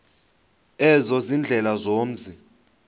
ezo ziindlela zomzi